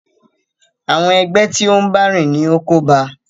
Àwọn ẹgbẹ́ tí o n bá rìn ní o kóba a.